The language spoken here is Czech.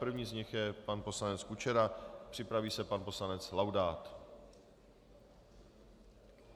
První z nich je pan poslanec Kučera, připraví se pan poslanec Laudát.